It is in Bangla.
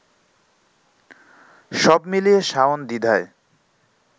সবমিলিয়ে শাওন দ্বিধায়